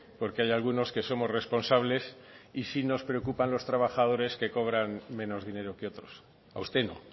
porque hay algunos que somos responsables y sí nos preocupan los trabajadores que cobran menos dinero que otros a usted no